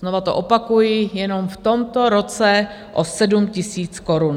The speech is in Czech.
Znova to opakuji, jenom v tomto roce o 7 000 korun.